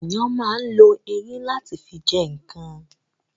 Ènìyàn ma ń lo eyín láti fi jẹ ǹkan